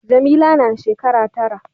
Jamila na shekara tara.